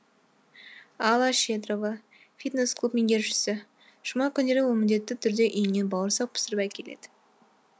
алла щедрова фитнес клуб меңгерушісі жұма күндері ол міндетті түрде үйінен бауырсақ пісіріп әкеледі